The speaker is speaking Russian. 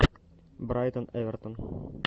брайтон эвертон